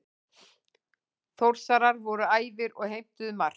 Þórsarar voru æfir og heimtuðu mark.